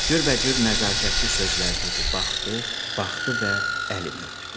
Cürbəcür nəzakətli sözlər dedi, baxdı, baxdı və əlimi öpdü.